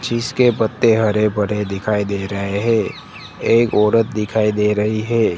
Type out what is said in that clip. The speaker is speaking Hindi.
जिस के पत्ते हरेभरे दिखाई दे रहे है एक औरत दिखाई दे रही है।